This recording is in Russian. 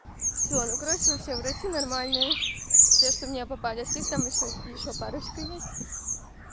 всё ну короче вообще врачи нормальные те что мне попались их там ещё ещё парочку есть